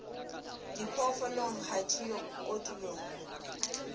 diphoofolong ha di yo kotulong